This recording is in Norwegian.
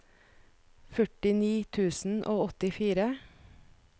førtini tusen og åttifire